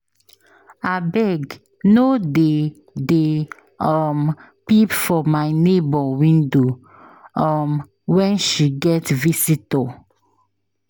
Abeg no dey dey um peep for my nebor window um wen she get visitor.